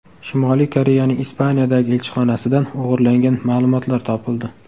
Shimoliy Koreyaning Ispaniyadagi elchixonasidan o‘g‘irlangan ma’lumotlar topildi.